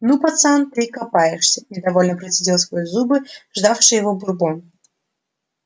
ну пацан ты и копаешься недовольно процедил сквозь зубы ждавший его бурбон